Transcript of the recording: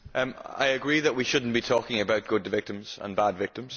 I agree that we should not be talking about good victims' and bad victims'.